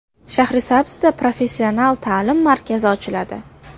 Shahrisabzda professional ta’lim markazi ochiladi.